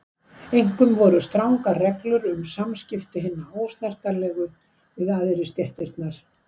Einkum voru strangar reglur um samskipti hinna ósnertanlegu við æðri stéttirnar.